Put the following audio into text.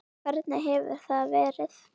Hvernig hefur það verið?